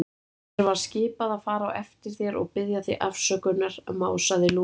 Mér var skipað að fara á eftir þér og biðja þig afsökunar másaði Lúlli.